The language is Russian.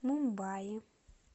мумбаи